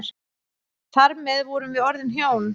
Þar með vorum við orðin hjón.